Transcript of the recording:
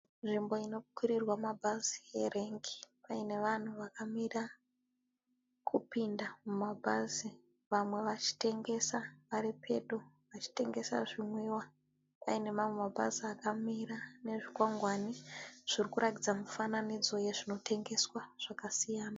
Nzvimbo ino kwirirwa mabhazi erengi paine vanhu vakamira kupinda mumabhazi vamwe vachitengesa varipedo vachitengesa zvimwiwa. Paine mamwe mabhazi akamira nezvikwangwani zvirikuratidza mifananidzo yezvinotengeswa zvakasiyana.